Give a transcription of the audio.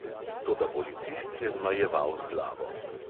Toda policist je zmajeval z glavo.